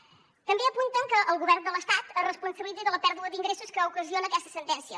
també apunten que el govern de l’estat es responsabilitzi de la pèrdua d’ingressos que ocasiona aquesta sentència